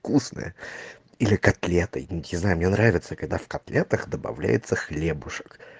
вкусная или котлета не знаю мне нравится когда в котлетах добавляется хлебушек